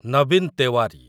Nabin Tewari